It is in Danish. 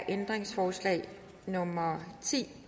ændringsforslag nummer ti